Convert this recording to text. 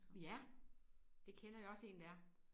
Ja? Det kender jeg også en der er